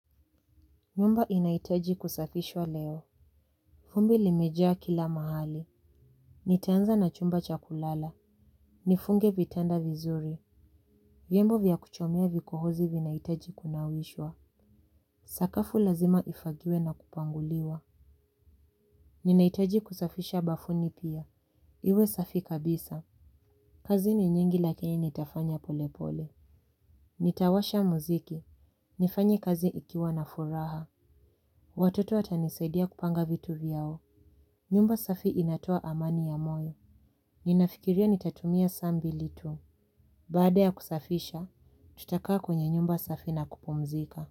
Nyumba inaitaji kusafishwa leo. Vumbi limejaa kila mahali. Nitaanza na chumba chakulala. Nifunge vitanda vizuri. Vyombo vya kuchomea vikohozi vinaitaji kunawishwa. Sakafu lazima ifagiwe na kupanguliwa. Ninahitaji kusafisha bafuni pia. Iwe safi kabisa. Kazi ni nyingi lakini nitafanya polepole. Nitawasha muziki. Nifanye kazi nikiwa na furaha. Watoto watanisaidia kupanga vitu vyao. Nyumba safi inatoa amani ya moyo. Ninafikiria nitatumia sambi litu. Baada ya kusafisha, tutakaa kwenye nyumba safi na kupumzika.